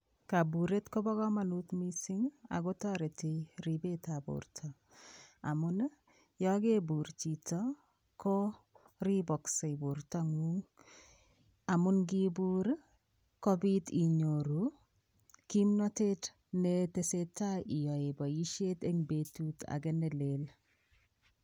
Kaburet koba kamanut mising ago ribetab borto. Yo kebur chito ko riboksei bortangung amun ngibur ii kopit inyoru kimnatet neteseta imi boisiet eng betut age nelel.